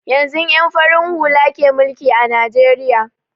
Yanzun ƴan farin hula ke mulki a najeriya